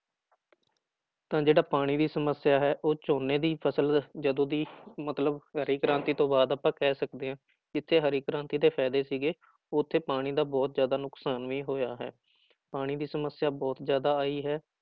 ਤਾਂ ਜਿਹੜਾ ਪਾਣੀ ਦੀ ਸਮੱਸਿਆ ਹੈ ਉਹ ਝੋਨੇ ਦੀ ਫ਼ਸਲ ਜਦੋਂ ਦੀ ਮਤਲਬ ਹਰੀ ਕ੍ਰਾਂਤੀ ਤੋਂ ਬਾਅਦ ਆਪਾਂ ਕਹਿ ਸਕਦੇ ਹਾਂ ਜਿੱਥੇ ਹਰੀ ਕ੍ਰਾਂਤੀ ਦੇ ਫ਼ਾਇਦੇ ਸੀਗੇ ਉੱਥੇ ਪਾਣੀ ਦਾ ਬਹੁਤ ਜ਼ਿਆਦਾ ਨੁਕਸਾਨ ਵੀ ਹੋਇਆ ਹੈ ਪਾਣੀ ਦੀ ਸਮੱਸਿਆ ਬਹੁਤ ਜ਼ਿਆਦਾ ਆਈ ਹੈ